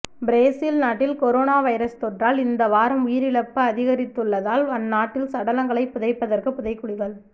Brazil நாட்டில் corona virus தொற்றால் இந்த வாரம் உயிரிழப்பு அதிகரித்துள்ளதால் அந்நாட்டில் சடலங்களைப் புதைப்பதற்கு புதைகுழிகள்